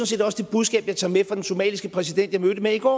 set også det budskab jeg tager med fra den somaliske præsident jeg mødtes med i går